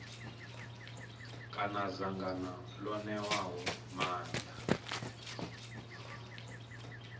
kana dzangano ḽo ṋewaho maanḓa